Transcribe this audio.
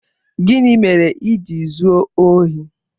Gịnị mere i ji zuo ohi?